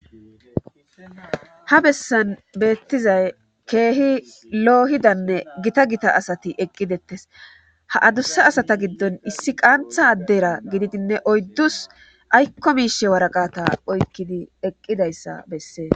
ha bessan beettizay keehi loohidanne gita gita asati eqqidettes ha adussa asata giddon issi qaantha addera gididinne oyddus aykko miishe waraqata oykkidi eqqidayssa bessee